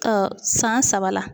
san saba la.